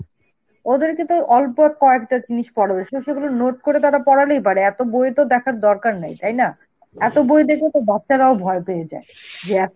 ওদেরকে তো অল্প কয়েকটা জিনিস পড়াবে, স~ সেগুলো note করে তারা পড়ালেই পারে, এত বইয়ের তো দেখার দরকার নেই, তাই না? এত বই দেখে তো বাচ্চারাও ভয় পেয়ে যায়, যে